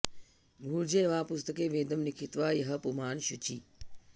भूर्जे वा पुस्तके वेदं लिखित्वा यः पुमान् शुचिः